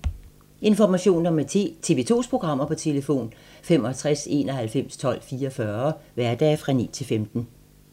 Information om TV 2's programmer: 65 91 12 44, hverdage 9-15.